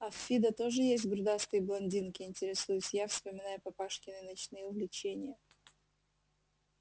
а в фидо тоже есть грудастые блондинки интересуюсь я вспоминая папашкины ночные увлечения